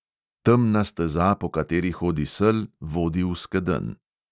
Temna steza, po kateri hodi sel, vodi v skedenj.